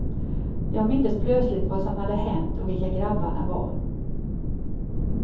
Jag mindes plötsligt vad som hade hänt och vilka grabbarna var.